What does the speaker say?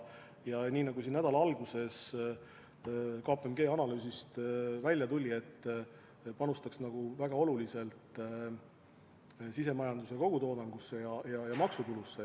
Ja nii nagu siin nädala alguses KPMG analüüsist välja tuli, see panustaks väga oluliselt sisemajanduse kogutoodangusse ja maksutulusse.